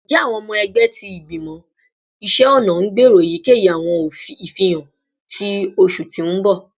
Njẹ awọn ọmọ ẹgbẹ ti Igbimọ Iṣẹ ọna n gbero eyikeyi awọn ifihan ni oṣu ti n bọ?